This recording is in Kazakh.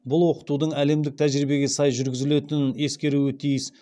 бұл оқытудың әлемдік тәжірибеге сай жүргізілетінін ескеруі тиіс